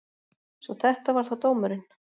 Svo þetta var þá dómurinn.